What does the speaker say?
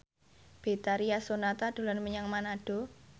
Betharia Sonata dolan menyang Manado